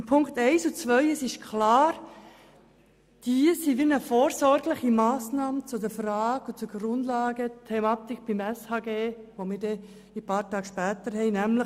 Zu den Punkten 1 und 2: Es ist klar, dass es sich um eine vorsorgliche Massnahme zur Grundlagenthematik des SHG handelt, welches wir ein paar Tage später behandeln werden.